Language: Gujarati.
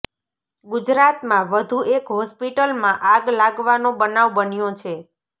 ગુજરાતમાં વધુ એક હોસ્પિટલમાં આગ લાગવાનો બનાવ બન્યો છે